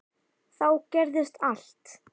Þá gerðist allt.